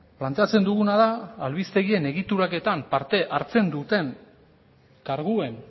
planteatzen duguna da albistegien egituraketan parte hartzen duten karguen